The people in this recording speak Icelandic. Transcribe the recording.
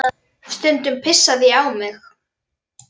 Stundum pissaði ég á mig.